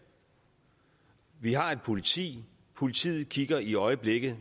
vi har et politi politiet kigger i øjeblikket